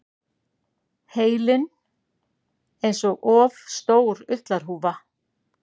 Heilinn einsog of stór ullarhúfa.